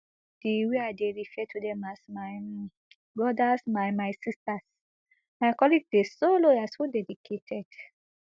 di way i dey refer to dem as my um brothers my my sisters my colleagues dey so loyal so dedicated